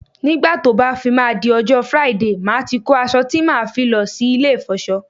Nígbà tó bá fi máa di ọjọ́ Friday, màá ti kó aṣọ tí màá fi lọ sí ilé ìfọṣọ